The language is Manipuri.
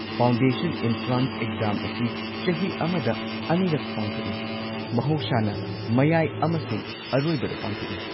ꯐꯥꯎꯟꯗꯦꯁꯟ ꯢꯟꯇ꯭ꯔꯥꯟꯁ ꯑꯦꯛꯖꯥꯝ ꯑꯁꯤ ꯆꯍꯤ ꯑꯃꯗ ꯑꯅꯤꯔꯛ ꯄꯥꯡꯊꯣꯛꯏ, ꯃꯍꯧꯁꯥꯅ ꯃꯌꯥꯏ ꯑꯃꯁꯨꯡ ꯑꯔꯣꯏꯕꯗ ꯄꯥꯡꯊꯣꯛꯏ꯫